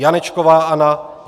Janečková Anna